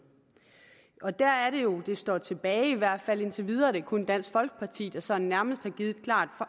og der er det jo at det står tilbage i hvert fald indtil videre at det kun er dansk folkeparti der sådan nærmest har givet et klart